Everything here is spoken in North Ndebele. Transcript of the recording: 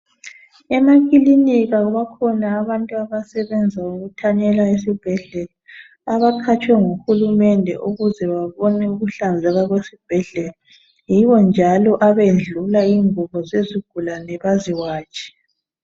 Emakilinika bakhona abantu asebenza ukuthanyela esibhedlela abaqhatshwe nguHulumende ukuze babone ukuhlanzeka kwesibhedlela. Yibo njalo abendlula izinguɓo zezigulane baphinde baziwatshe.